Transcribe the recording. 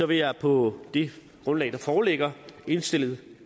vil jeg på det grundlag der foreligger indstille